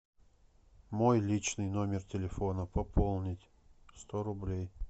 мой личный номер телефона пополнить сто рублей